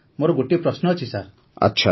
sir ମୋର ଗୋଟିଏ ପ୍ରଶ୍ନ ଅଛି ସାର୍